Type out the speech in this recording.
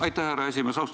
Aitäh, härra esimees!